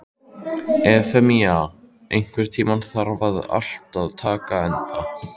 Efemía, einhvern tímann þarf allt að taka enda.